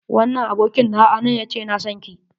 Wannan abokin nawa a nan ya ce yana sonki.